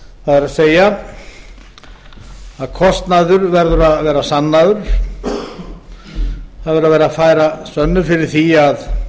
það er að kostnaður verður að vera sannaður það verður að færa sönnur fyrir því að